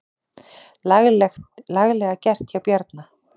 Laglega gert hjá Bjarna.